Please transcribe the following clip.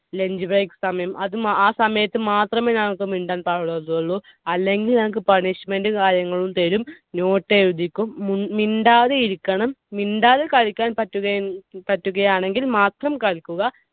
അല്ലെങ്കിൽ lunch break സമയം. അത് ~ ആ സമയത്തു മാത്രമേ ഞങ്ങൾക്ക് മിണ്ടാൻ പാടില്ലാത്തതുള്ളൂ. അല്ലെങ്കിൽ ഞങ്ങൾക്ക് punishment കാര്യങ്ങൾ തരും. note എഴുതിക്കും. മിണ്ടാതിരിക്കണം. മിണ്ടാതെ കളിയ്ക്കാൻ പറ്റുക~പറ്റുകയാണെങ്കിൽ മാത്രം കളിക്കുക.